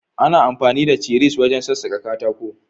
Ana amfani da cisir wajen sassaka katako.